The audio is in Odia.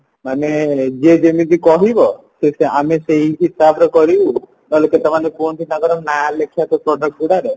ମାନେ ଯିଏ ଯେମିତି କହିବ ସିଏ ସେ ଆମେ ସେଇ ହିସାବରେ କରିବୁ ନହେଲେ କି ସେମାନେ କୁହନ୍ତି ତାଙ୍କର ନାଁ ଲେଖିବବାକୁ product ଗୁଡାରେ